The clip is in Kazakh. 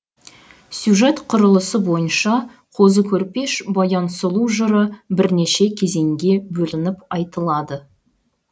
сюжет құрылысы бойынша қозы көрпеш баян сұлу жыры бірнеше кезеңге бөлініп айтылады